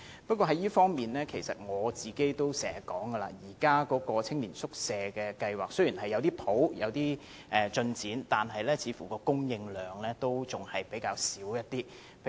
不過，在這方面，正如我也經常說，現時的青年宿舍計劃雖然也有少許進展，但供應量似乎仍然較少。